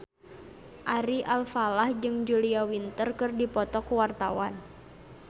Ari Alfalah jeung Julia Winter keur dipoto ku wartawan